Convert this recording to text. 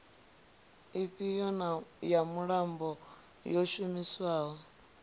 ifhio ya muambo yo shumiswaho